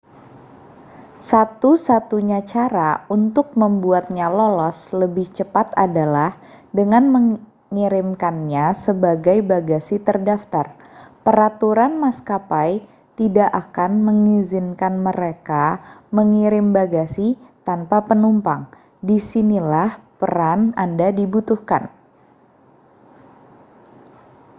satu-satunya cara untuk membuatnya lolos lebih cepat adalah dengan mengirimkannya sebagai bagasi terdaftar peraturan maskapai tidak akan mengizinkan mereka mengirim bagasi tanpa penumpang disinilah peran anda dibutuhkan